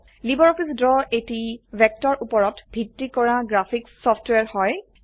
LibreOffice Draw এটি ভেক্টৰউপৰত ভিত্তি কৰা গ্ৰাফিক্চ সফটওয়্যাৰ হয়